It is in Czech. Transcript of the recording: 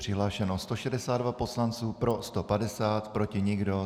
Přihlášeno 162 poslanců, pro 150, proti nikdo.